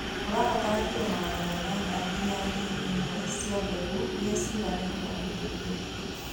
Ũrabatara kiro magana manana nginya ngiri ĩmwe cia mbegũ irĩa ciganaine na itumbĩ.